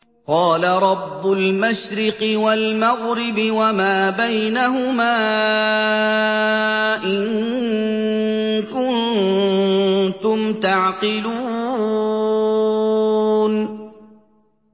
قَالَ رَبُّ الْمَشْرِقِ وَالْمَغْرِبِ وَمَا بَيْنَهُمَا ۖ إِن كُنتُمْ تَعْقِلُونَ